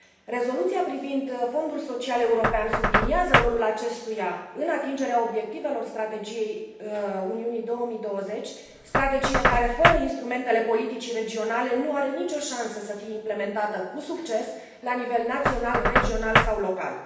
Rezoluția privind Fondul Social European subliniază rolul acestuia în atingerea obiectivelor strategiei Uniunii 2020, strategie care fără instrumentele politicii regionale nu are nicio șansă să fie implementată cu succes la nivel național, regional sau local.